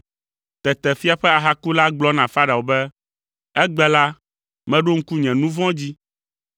Tete fia ƒe ahakula gblɔ na Farao be, “Egbe la, meɖo ŋku nye nu vɔ̃ dzi.